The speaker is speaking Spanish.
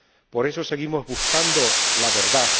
Por eso seguimos buscando la verdad.